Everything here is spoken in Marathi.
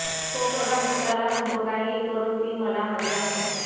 तो प्रधानपुत्राला म्हणतो काहीही करून ती मला हवी आहे